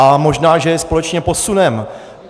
A možná že je společně posuneme.